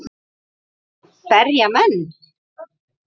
Berja menn?